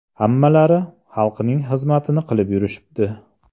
Hammalari xalqning xizmatini qilib yurishibdi.